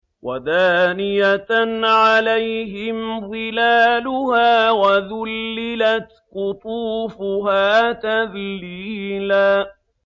وَدَانِيَةً عَلَيْهِمْ ظِلَالُهَا وَذُلِّلَتْ قُطُوفُهَا تَذْلِيلًا